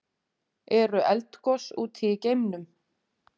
Eru eldgos úti í geimnum?